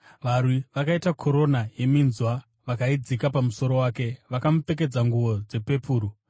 Varwi vakaita korona yeminzwa vakaidzika pamusoro wake. Vakamupfekedza nguo dzepepuru